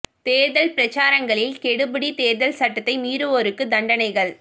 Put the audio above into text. தேர்தல் பிரசாரங்களில் கெடுபிடி தேர்தல் சட்டத்தை மீறுவோருக்கு தண்டனைகள்